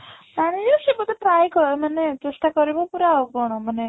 ଜାଣି ଯିବ ସେ ବୋଧେ ପ୍ରାୟ କ ମାନେ ଚେଷ୍ଟା କରିବ ପୁରା ଆଉ କ'ଣ ମାନେ